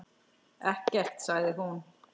Ekkert, sagði hún.